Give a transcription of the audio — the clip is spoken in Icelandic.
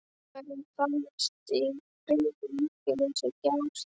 En verður fallist á friðlýsingu Gjástykkis?